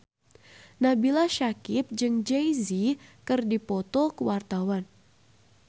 Nabila Syakieb jeung Jay Z keur dipoto ku wartawan